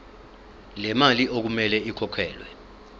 lemali okumele ikhokhelwe